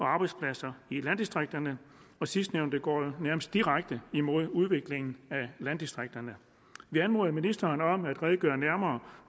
arbejdspladser i landdistrikterne sidstnævnte går nærmest direkte imod udviklingen af landdistrikterne vi anmoder ministeren om at redegøre nærmere